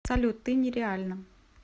салют ты нереальна